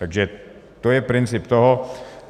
Takže to je princip toho.